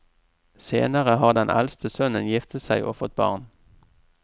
Senere har den eldste sønnen giftet seg og fått barn.